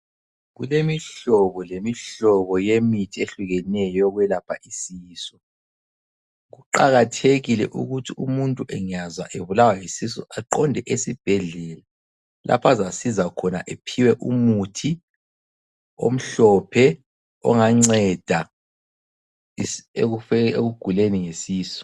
Kulemihlobo lemihlobo yemithi ehlukeneyo yokwelapha isisu. Kuqakathekile ukuthi umuntu engazwa ebulawa yisisu aqonde esibhedlela lapha azasizwa khona aphiwe umuthi omhlophe onganceda ekuguleni ngesisu.